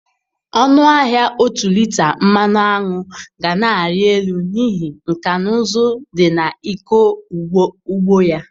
Ọnụ ahịa ọtu lita mmanụ aṅụ ga na-arị élú, n'ihi nkà na ụzụ dị na ịkọ ugbo ya.